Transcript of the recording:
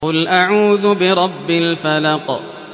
قُلْ أَعُوذُ بِرَبِّ الْفَلَقِ